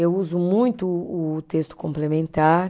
Eu uso muito o texto complementar.